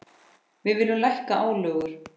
Við viljum lækka álögur.